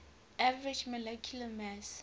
average molecular mass